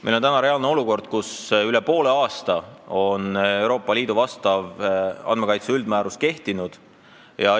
Me oleme olukorras, kus see Euroopa Liidu andmekaitse üldmäärus on kehtinud üle poole aasta.